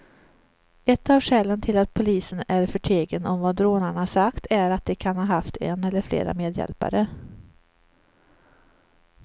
Ett av skälen till att polisen är förtegen om vad rånarna sagt är att de kan ha haft en eller flera medhjälpare.